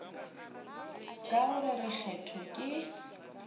ka go re kgetho ke